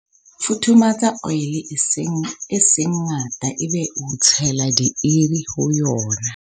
futhumatsa oli e seng ngata ebe o tshela dieie ho yona